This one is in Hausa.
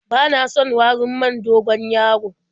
Bana son warin man dogon-yaro.